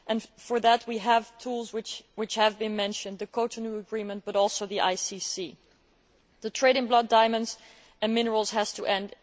To do this we have tools, which have been mentioned the Cotonou Agreement and also the ICC. The trade in blood diamonds and minerals has to end.